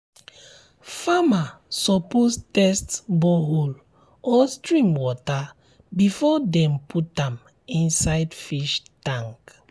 farmer suppose test borehole or stream water before dem put am um inside um fish um tank